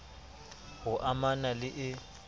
h o amana le e